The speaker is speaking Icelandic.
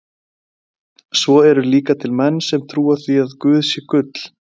Svo eru líka til menn sem trúa því að guð sé gull.